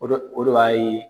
Odo odo y'a ye.